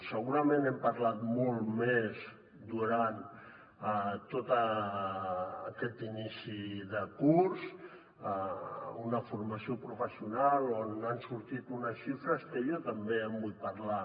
segurament n’hem parlat molt més durant tot aquest inici de curs una formació professional on han sortit unes xifres que jo també en vull parlar